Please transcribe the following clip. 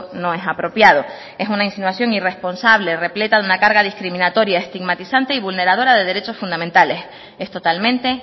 no es apropiado es una insinuación irresponsable repleta de una carga discriminatoria estigmatizante y vulneradora de derechos fundamentales es totalmente